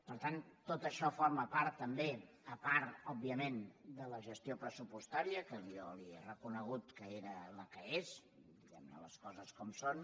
per tant tot això forma part també a part òbviament de la gestió pressupostària que jo li he reconegut que és la que és les coses com són